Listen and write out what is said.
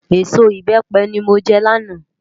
Ésó ibèpè ni mó jè làná